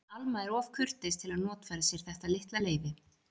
En Alma er of kurteis til að notfæra sér þetta litla leyfi.